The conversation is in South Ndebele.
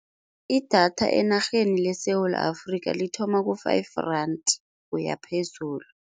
I-data enarheni leSewula Afrikha lithoma ku-five rand kuya phezulu.